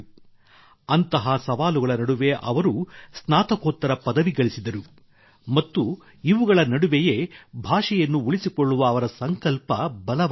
ಅಂತಹ ಸವಾಲುಗಳ ನಡುವೆ ಅವರು ಸ್ನಾತಕೋತ್ತರ ಪದವಿ ಗಳಿಸಿದರು ಮತ್ತು ಇವುಗಳ ನಡುವೆಯೇ ಭಾಷೆಯನ್ನು ಉಳಿಸಿಕೊಳ್ಳುವ ಅವರ ಸಂಕಲ್ಪ ಬಲವಾಯಿತು